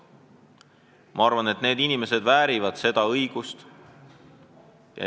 Ma arvan, et need inimesed väärivad meie kodakondsust.